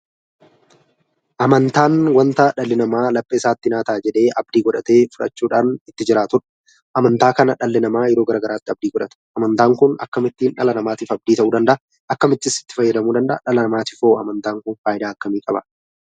Amantaan wanta dhalli namaa laphee isaatti "Naa Ta'a" jedhee abdii godhatee fudhachuudhaan itti jiraatu dha. Amantaa kana dhalli namaa yeroo garaagaraatti abdii godhata. Amantaan kun akkamittiin dhala namaatiif abdii ta'uu danda'a? Akkamittis itti fayyadamuu danda'a? Dhala namaatiif hoo amantaan kun faayidaa akkamii qaba?